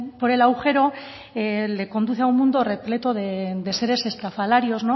por el agujero le conduce a un mundo repleto de seres estrafalarios